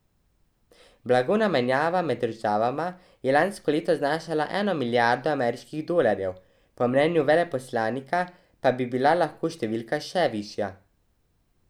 Blagovna menjava med državama je lansko leto znašala eno milijardo ameriških dolarjev, po mnenju veleposlanika pa bi bila lahko številka še višja.